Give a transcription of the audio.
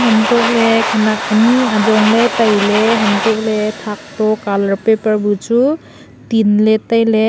untohley khenak ani ajongley tailey untohley thak to colour paper buchu tinley tailey.